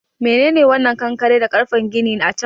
Menene wannan kankare da ƙarfen gini a can?